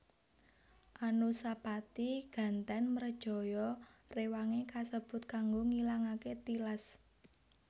Anusapati gantèn mrejaya rewangé kasebut kanggo ngilangaké tilas